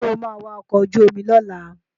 Sọ ma wa ọkọ̀ ojú omi lọ́la?